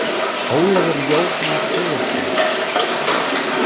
Ólafur Jóhann Sigurðsson.